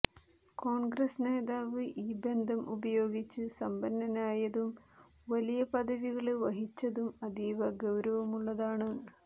കോണ്ഗ്രസ് നേതാവ് ഈ ബന്ധം ഉപയോഗിച്ച് സമ്പന്നനായതും വലിയ പദവികള് വഹിച്ചതും അതീവ ഗൌരവമുള്ളതാണ്